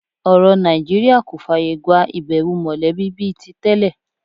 Ọ̀rọ̀ Nàìjíríà kò fààyà gba ìbẹ̀wò mọ̀lẹ́bí bí i tí tẹ́lẹ̀